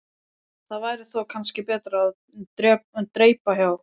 Það væri þó kannski betra að dreypa á.